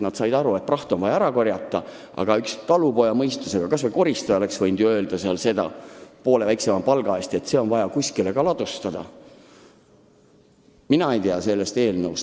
Nad said aru, et praht on vaja ära korjata, aga üks talupojamõistusega kas või koristaja oleks võinud poole väiksema palga eest tähelepanu juhtida, et see kõik on vaja kuskile ka ladustada.